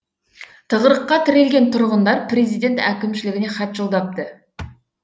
тығырыққа тірелген тұрғындар президент әкімшілігіне хат жолдапты